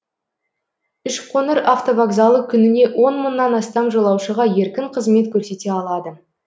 үшқоңыр автовокзалы күніне он мыңнан астам жолаушыға еркін қызмет көрсете алады